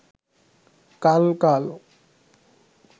কাল কাল